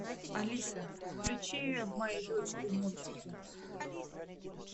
алиса включи моей дочери мультики